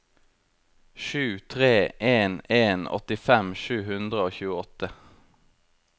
sju tre en en åttifem sju hundre og tjueåtte